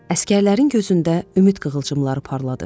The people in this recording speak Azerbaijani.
Əsgərlərin gözündə ümid qığılcımları parladı.